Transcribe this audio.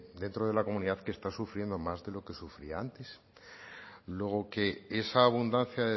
dentro de la comunidad que está sufriendo más de lo que sufría antes luego que esa abundancia